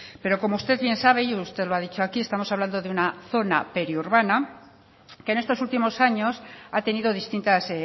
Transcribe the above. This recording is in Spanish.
pero como usted bien sabe y usted lo ha dicho aquí estamos hablando una zona periurbana que en estos últimos años ha tenido distintas